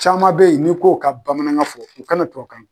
Caman bɛ ye n'i k'o ka bamanankan fɔ u kana tubabukan